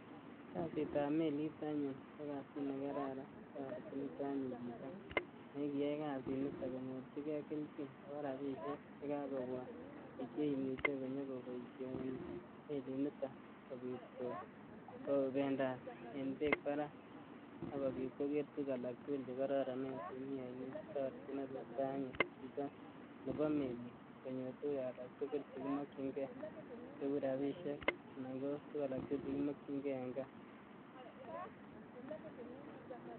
Kasitab melit anyun ko kasit negaran. Toreti nito anyun chito negiyai kasit nito konyorichige keljin ago rapisiek chekakobwa keimuchi nyogoboisien melit niton kobit kobendat eng beek barak ak kobit koger tuguk alaktugul chegororonen chemi ainet. Toreti tukchuto anyun chito nebo melit konyor tuguk alaktugul chegimakienge cheurabisiek anan ko tuguk alaktugul chegimakin nge en kaa